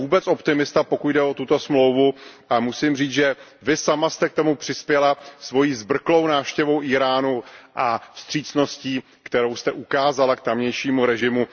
Nejsem vůbec optimista, pokud jde o tuto smlouvu, a musím říct, že vy sama jste k tomu přispěla svojí zbrklou návštěvou Íránu a vstřícností, kterou jste ukázala k tamějšímu režimu.